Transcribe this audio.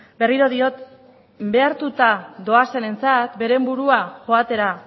berriro diot behartuta doazenentzat beren burua joatera